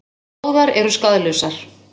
Báðar eru skaðlausar.